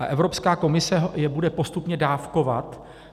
A Evropská komise je bude postupně dávkovat.